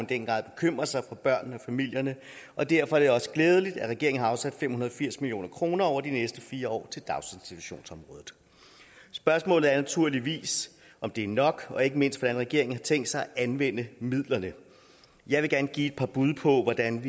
den grad bekymrer sig for børnene og familierne og derfor er det også glædeligt at regeringen har afsat fem hundrede og firs million kroner over de næste fire år til daginstitutionsområdet spørgsmålet er naturligvis om det er nok og ikke mindst hvordan regeringen har tænkt sig at anvende midlerne jeg vil gerne give et par bud på hvordan